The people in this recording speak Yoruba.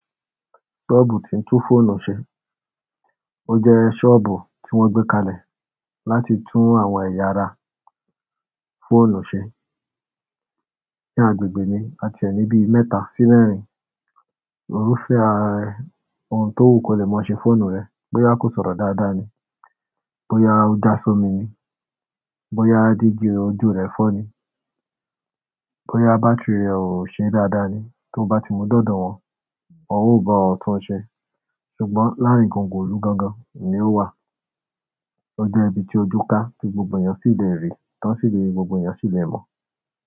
Ṣọ́ọ̀bù tí ń tún fóònù ṣe. O je soobu ti won gbe kalẹ̀ láti tu eya ara fóònù se ní agbègbè mi àti ẹ ni bíi mẹ́ta sí mẹ́rin. Òru fèè ara òun tó wù kó le mọ ṣe fóònù rẹ̀. Bóyá kò sọ̀rọ̀ dáadáa ni, bóyá ó já sọ́ mi ni, bóyá jígí ojú rẹ fọ́ ni, bóyá bátírí rẹ̀ ò ṣe dáadáa ni. Tó bá ti mu d'ọ́dọ̀ wọn, wọn ò ba ọ́ tún ṣe. Ṣùgbọ́n láàárín gongo ilù gangan ni ó wà. Ó jẹ́ ibi tí ojú ká tí gbogbo ènìyàn sì lè rí, tán sì lè gbogbo ènìyàn sì lè mọ̀.